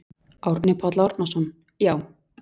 Árni Páll Árnason: Já.